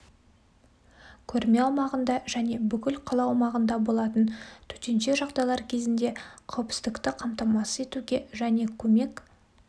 көрме аумағында және бүкіл қала аумағында болатын төтенше жағдайлар кезінде қауіпсіздікті қамтамасыз етуге және көмек